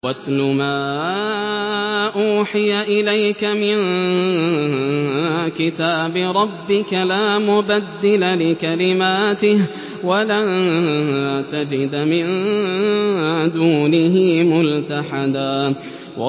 وَاتْلُ مَا أُوحِيَ إِلَيْكَ مِن كِتَابِ رَبِّكَ ۖ لَا مُبَدِّلَ لِكَلِمَاتِهِ وَلَن تَجِدَ مِن دُونِهِ مُلْتَحَدًا